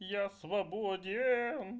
я свободееен